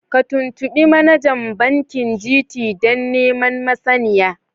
Ka tuntubi manajan bankin GT dan neman masaniya.